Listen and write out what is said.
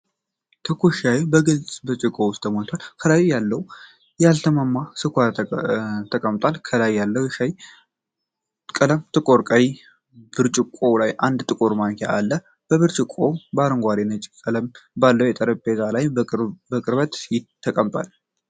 ትኩስ ሻይ በግልጽ ብርጭቆ ውስጥ ተሞልቶ፣ ከታች ላይ ያልተሟሟ ስኳር ተቀምጧል። ከላይ ያለው የሻይ ቀለም ጥቁር ቀይ ነው፣ ብርጭቆው ላይ አንድ ጥቁር ማንኪያ አለ። ብርጭቆው በአረንጓዴና ነጭ ቀለም ባለው የጠረጴዛ ልብስ ላይ በቅርበት ተቀምጧል።